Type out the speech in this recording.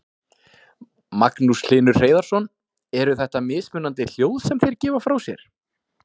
Magnús Hlynur Hreiðarsson: Eru þetta mismunandi hljóð sem þeir gefa frá sér?